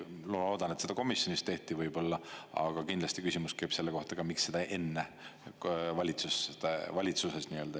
Ma loodan, et seda komisjonis tehti võib-olla, aga kindlasti küsimus käib selle kohta, miks seda enne valitsuses ei tehtud.